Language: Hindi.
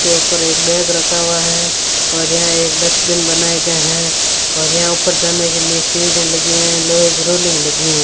के ऊपर एक बैग रखा हुआ है और यहां एक डस्टबिन बनाया गया है और यहां ऊपर जाने के लिए सीढ़ियां लगी हुई हैं लोहे की रोलिंग लगी हुई है।